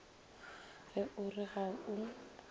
ge o re ga o